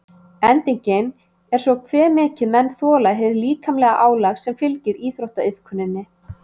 Endingin er svo hve mikið menn þola hið líkamlega álag sem fylgir íþróttaiðkuninni.